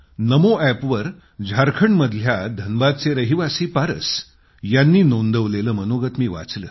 नमो अॅपवर झारखंडमधल्या धनबादचे रहिवासी पारस यांनी नोंदवलेलं मनोगत मी वाचलं